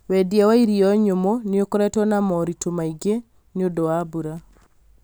wendia wa irio nyũmũ nĩ ũkoretwo na moritũ maingĩ nĩ ũndũ wa mbura